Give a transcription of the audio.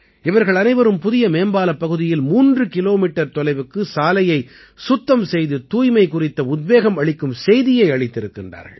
இவர்கள் அனைவரும் புதிய மேம்பாலப் பகுதியில் மூன்று கிலோமீட்டர் தொலைவுக்கு சாலையைச் சுத்தம் செய்து தூய்மை குறித்த உத்வேகம் அளிக்கும் செய்தியை அளித்திருக்கிறார்கள்